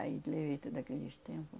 Aí levei tudo aqueles tempo.